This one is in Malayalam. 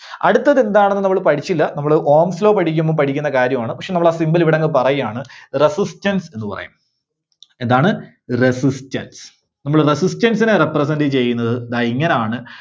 അടുത്തത് എന്താണെന്ന് നമ്മള് പഠിച്ചില്ല. നമ്മള് Ohm's Law പഠിക്കുമ്പോ പഠിക്കുന്ന കാര്യമാണ്. പക്ഷേ നമ്മള് ആ symbol ഇവിടങ്ങ് പറയാണ് Resistance എന്ന് പറയും. എന്താണ്? Resistance നമ്മള് Resistance നെ represent ചെയ്യുന്നത് ദാ ഇങ്ങനാണ്.